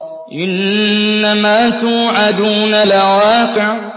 إِنَّمَا تُوعَدُونَ لَوَاقِعٌ